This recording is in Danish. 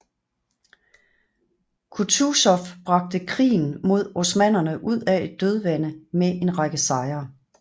Kutuzov bragte krigen mod osmannerne ud af et dødvande med en række sejre